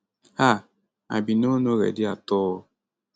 ah i bin no no ready at all